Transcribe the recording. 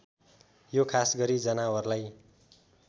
यो खासगरी जनावरलाई